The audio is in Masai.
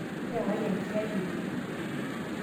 iyakaki enkiyai ene